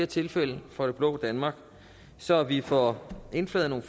tilfælde for det blå danmark så vi får indflaget nogle